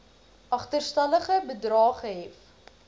agterstallige bedrae gehef